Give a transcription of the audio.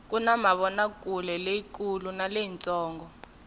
kuna mavonakuleleyi kulu na leyi ntsongo